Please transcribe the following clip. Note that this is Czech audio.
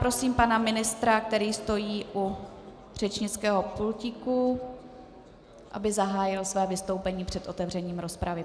Prosím pana ministra, který stojí u řečnického pultíku, aby zahájil své vystoupení před otevřením rozpravy.